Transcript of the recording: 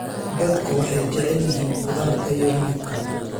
Dadku waxay jecel yihiin khudaarta iyo hilibka.